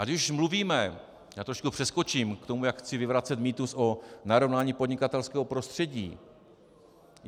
Ať už mluvíme - já trošku přeskočím k tomu, jak chci vyvracet mýtus o narovnání podnikatelského prostředí.